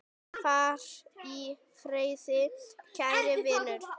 Far í friði, kæri vinur.